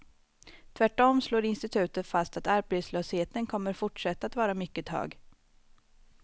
Tvärtom slår institutet fast att arbetslösheten kommer fortsätta att vara mycket hög.